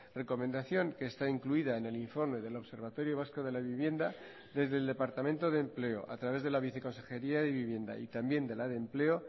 recomendación que está incluida en el informe del observatorio vasco de la vivienda desde el departamento de empleo a través de la viceconsejería de vivienda y también de la de empleo